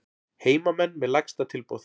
Heimamenn með lægsta tilboð